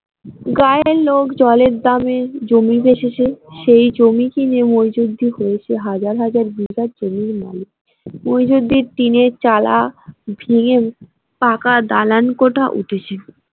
গাঁয়ের লোক জলের দামে জমি বেচেছে সেই জমি কিনে মইজুদ্দিন হয়েছে হাজার হাজার বিঘার জমির মালিক মইজুদ্দিন টিনের চালা ভেঙে পাকা দালানকোঠা উঠেছে।